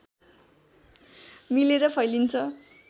मिलेर फैलिन्छ